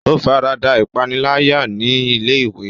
O farada ipanilaya ni ilé-ìwé.